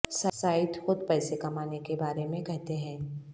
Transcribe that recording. site خود پیسے کمانے کے بارے میں کہتے ہیں